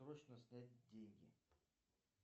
срочно снять деньги